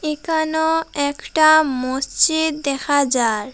একানো একটা মসজিদ দেখা যায়।